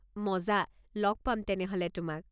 মজা, ল'গ পাম তেনেহ'লে তোমাক!